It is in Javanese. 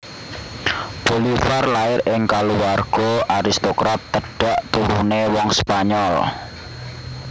Bolivar lair ing kaluwarga aristokrat tedhak turune wong Spanyol